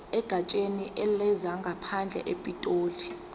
egatsheni lezangaphandle epitoli